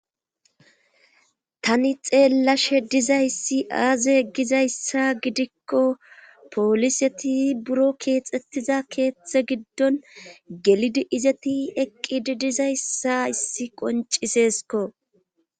Tani xeellashe dizayssi aaze egizayssa gidikko pooliseti buro keexxettiza keeththe giddon gelidi izeti eqqidi dizayssa issi qoncisesko.